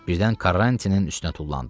Birdən Karrantinin üstünə tullandı.